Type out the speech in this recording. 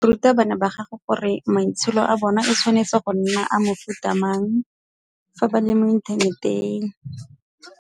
Ruta bana ba gago gore maitsholo a bona e tshwanetse go nna a mofuta mang fa ba le mo inthaneteng.